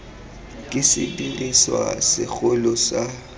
ke sediriswa se segolo sa